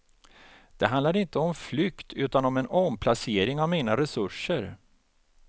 Det handlar inte om flykt utan om en omplacering av mina resurser.